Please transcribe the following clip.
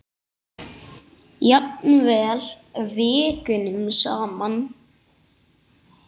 Jafnvel vikunum saman.